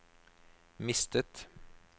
mistet